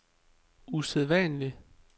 usædvanlig